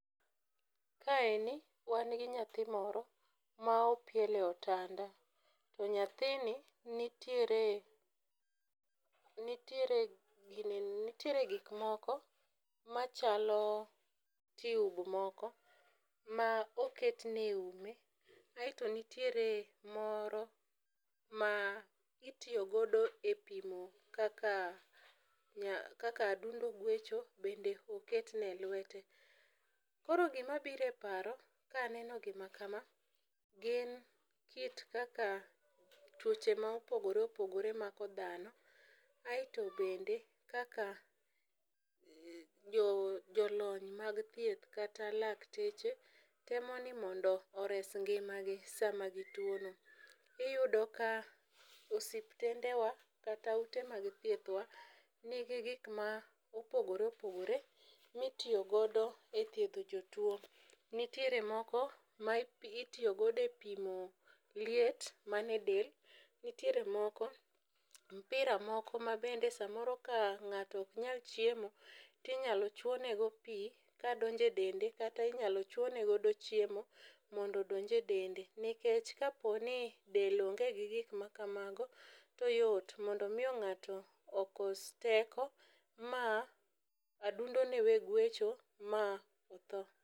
Kaeni, wan gi nyathi moro ma opiel e otanda. To nyathini, nitiere, nitiere gik moko machalo tube moko ma oketne e ume, aito nitiere moro ma itiyo godo e pimo kaka adundo gwecho, bende oketne e lwete. Koro gima biro e paro, ka aneno gima kama, gin kit kaka twoche ma opogoreopogore mako dhano ,aito bende, kaka jolony mag thieth kata dakteche temo ni mondo ores ngimagi sama gituono. Iyudo ni osuptendewa, kata ute mag thiethwa, nigi gik ma opogoreopogore ma itiyogodo e thiedho jotuo. Nitiere moko ma itiyogodo e pimo liet man e del, nitiere moko, mpira moko ma bende samoro ka ng'ato ok nyal chiemo, tinyalo chwonego pii ka donjo e dende, kata inyalo chwone godo chiemo mondo odonj e dende . Nikech kaponi del onge gi gik makamago, to yot mondo miyo ng'ato okos teko, ma adundone we guecho, ma otho.